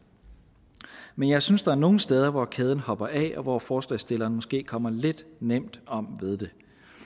men jeg synes at der er nogle steder hvor kæden hopper af og hvor forslagsstillerne måske kommer lidt nemt om ved det